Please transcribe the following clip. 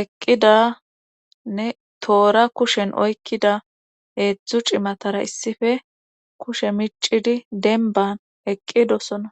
eqqidanne toora kushen oykkida eedzdzu cimatara issife kushe micidi denban eqqidosona